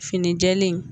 Fini jɛlen